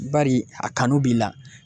Bari a kanu b'i la.